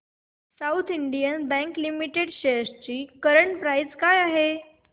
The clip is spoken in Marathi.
south Indian Bank Limited shares ची करंट प्राइस काय आहे